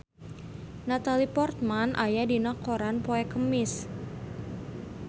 Natalie Portman aya dina koran poe Kemis